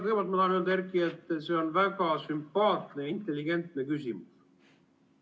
Kõigepealt ma tahan öelda, Erki, et see on väga sümpaatne ja intelligentne küsimus.